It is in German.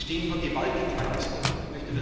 Wir stehen vor gewaltigen Herausforderungen.